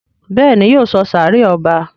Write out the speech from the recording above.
Béèni yóò sọ sáré ọba.